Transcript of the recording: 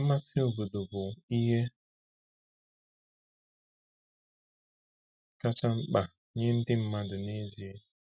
Mmasị obodo bụ ihe kacha mkpa nye ndị mmadụ n’ezie.